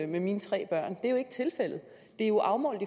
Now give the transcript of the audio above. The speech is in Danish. mine tre børn det er jo ikke tilfældet det er jo afmålt